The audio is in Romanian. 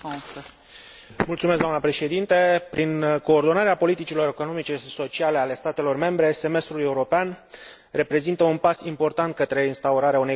Prin coordonarea politicilor economice și sociale ale statelor membre, Semestrul european reprezintă un pas important către instaurarea unei guvernanțe economice europene solide.